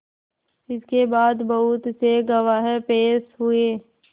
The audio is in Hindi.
इसके बाद बहुत से गवाह पेश हुए